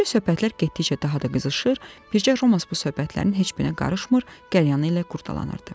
Beləcə söhbətlər getdikcə daha da qızışır, bircə Romas bu söhbətlərin heç birinə qarışmır, qəlyanını ilə qurdalanırdı.